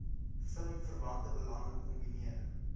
filmverwante belange kombineer